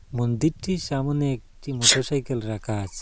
মন্দিরটির সামোনে একটি মোটরসাইকেল রাখা আছে।